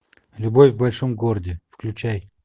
любовь в большом городе включай